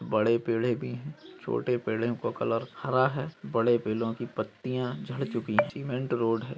बड़े पेड़े भी है छोटे पेड़ें का कलर हरा है बड़े पेलों की पत्तिया झड़ चूकी सीमेंट रोड है।